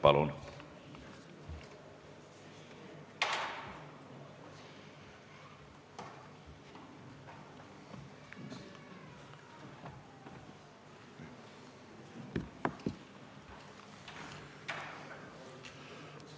Palun!